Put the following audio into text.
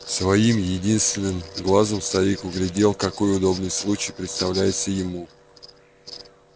своим единственным глазом старик углядел какой удобный случай представляется ему